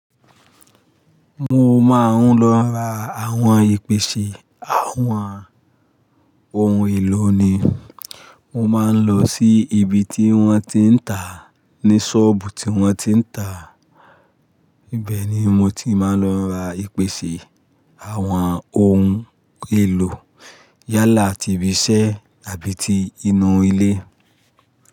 Mo máa ń lọ ra àwọn ìpèsè àwọn ohun èlò ni. Mo máa ń lọ sí ibi tí wọ́n ti ń tàá, ní ṣọ́ọ̀bù tí wọ́n ti ń tàá. Ibẹ̀ ni mo ti máa ń lọ ra ìpèsè àwọn ohun èlò yálà ti ibi iṣẹ́ àbí ti inú ilé.